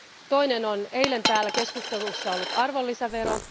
Toinen on eilen täällä keskustelussa ollut arvonlisävero.